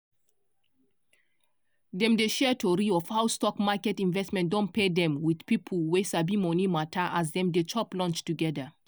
dem dey share tori of how stock market investment don pay dem with people wey sabi money matter as dem dey chop lunch together.